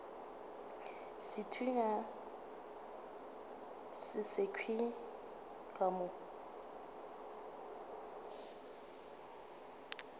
sethunya se sekhwi ka mo